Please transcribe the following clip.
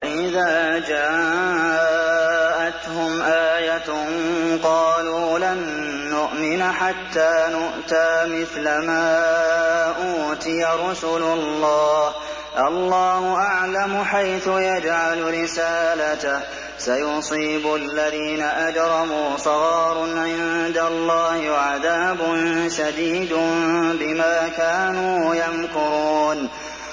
وَإِذَا جَاءَتْهُمْ آيَةٌ قَالُوا لَن نُّؤْمِنَ حَتَّىٰ نُؤْتَىٰ مِثْلَ مَا أُوتِيَ رُسُلُ اللَّهِ ۘ اللَّهُ أَعْلَمُ حَيْثُ يَجْعَلُ رِسَالَتَهُ ۗ سَيُصِيبُ الَّذِينَ أَجْرَمُوا صَغَارٌ عِندَ اللَّهِ وَعَذَابٌ شَدِيدٌ بِمَا كَانُوا يَمْكُرُونَ